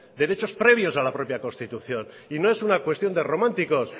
derechos previos a la propia constitución y no es una cuestión de románticos